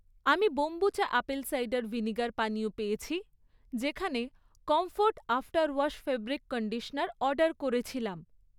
আমি kombucha apple cider vinegar পানীয় পেয়েছি, যেখানে comfort after wash fabric conditioner order করেছিলাম